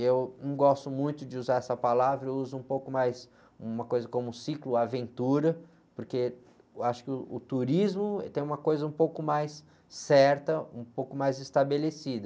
Eu não gosto muito de usar essa palavra, eu uso um pouco mais uma coisa como cicloaventura, porque eu acho que uh, o turismo tem uma coisa um pouco mais certa, um pouco mais estabelecida.